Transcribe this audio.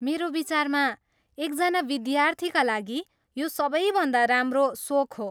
मेरो विचारमा, एकजना विद्यार्थीका लागि यो सबैभन्दा राम्रो सोख हो।